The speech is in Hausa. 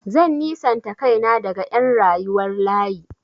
Zan nisanta kaina daga ƴan rayuwar layi.